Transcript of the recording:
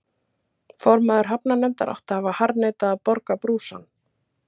Formaður hafnarnefndar átti að hafa harðneitað að borga brúsann.